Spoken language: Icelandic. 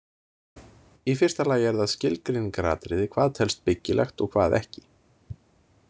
Í fyrsta lagi er það skilgreiningaratriði hvað telst „byggilegt“ og hvað ekki.